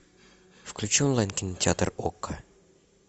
включи онлайн кинотеатр око